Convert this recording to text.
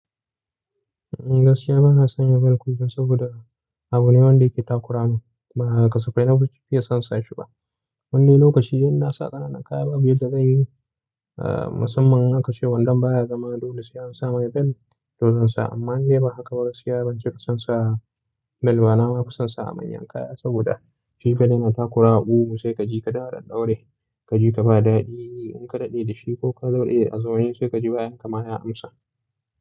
Gaskiya bana sanya bel kullum saboda abu ne wanda yake takura min. Ba kasafai na fi nakeson sa shi ba. Wani lokaci idan na sa ƙananan kaya babu yadda zanyi. Ahh musamman in aka ce wandon baya zama dole sai an sa mai bel, to zan sa. Amma indai ba haka ba, gaskiya ban cika son sawa bel ba, na ma kasansa manyan kaya saboda shi bel yana takura wa sai ka ji ka duk a ɗaɗɗaure. Ka ji ka ba daɗi in ka daɗe da shi kokuma zai iya wani sai ka ji bayanka ma ya amsa.